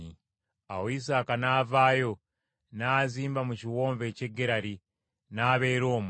Awo Isaaka n’avaayo n’azimba mu kiwonvu eky’e Gerali, n’abeera omwo.